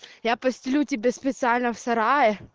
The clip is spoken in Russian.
я постелю тебе специально в сарае